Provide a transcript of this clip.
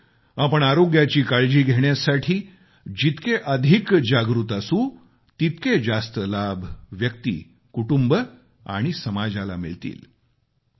त्यामुळे आपण आरोग्याची काळजी घेण्यासाठी जितके अधिक जागृत असू तितके जास्त लाभ व्यक्ती कुटुंब आणि समाजाला मिळतील